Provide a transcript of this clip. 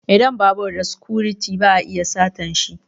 Idan babur da sikuriti ba a iya satanshi